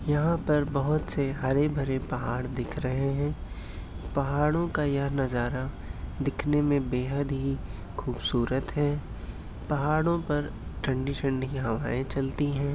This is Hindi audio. यहा पर बहुत से हरे भरे पाहड़ दिख रहे है। पहाड़ो का यह नजरा दिखने में बेहद ही खुबसूरत है। पहाड़ो पर ठंडी ठंडी हवाए चलती है।